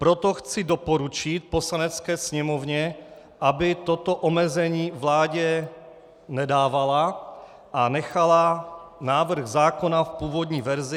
Proto chci doporučit Poslanecké sněmovně, aby toto omezení vládě nedávala a nechala návrh zákona v původní verzi.